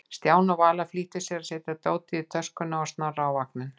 Stjáni og Vala flýttu sér að setja dótið í töskuna og Snorra í vagninn.